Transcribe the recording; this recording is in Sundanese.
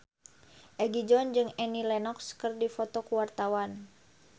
Egi John jeung Annie Lenox keur dipoto ku wartawan